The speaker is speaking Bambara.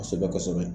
Kosɛbɛ kosɛbɛ